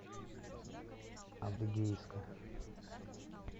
адыгейска